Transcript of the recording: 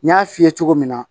N y'a f'i ye cogo min na